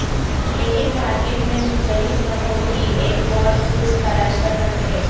لیکن مارکیٹ میں مختلف رنگوں کی ایک بہت کچھ تلاش کر سکتے ہیں